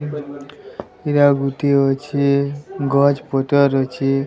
ଇରା ଗୁଟିଏ ଅଛି ଗଛ୍ ପତର୍ ଅଛି